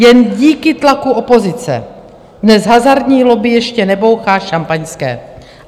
Jen díky tlaku opozice dnes hazardní lobby ještě nebouchá šampaňské.